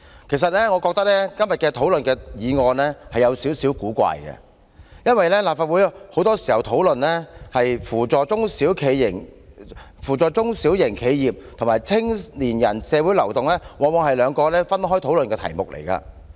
其實我覺得今天討論的議案是有點古怪，因為立法會很多時候討論扶助中小型企業與青年人社會流動往往是兩個分開討論的議題。